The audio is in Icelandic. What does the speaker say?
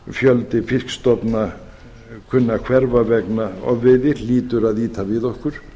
fjöldi fiskstofna kunni að hverfa vegna ofveiði hlýtur að ýta við okkur